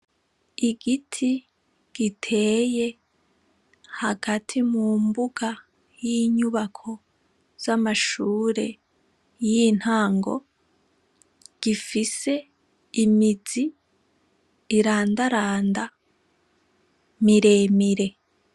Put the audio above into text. Igiti giteye hagati mu mbuga y'inyubako z'amashure y'intango, gifise imizi irandaranda, miremire.